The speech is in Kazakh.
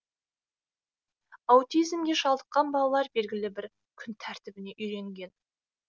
аутизмге шалдыққан балалар белгілі бір күн тәртібіне үйренген